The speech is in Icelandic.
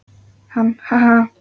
Hann: Ha ha ha.